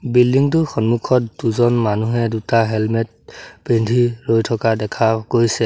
Building টোৰ সন্মুখত দুজন মানুহে দুটা হেলমেট পিন্ধি ৰৈ থকা দেখা গৈছে।